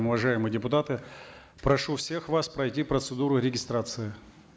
уважаемые депутаты прошу всех вас пройти процедуру регистрации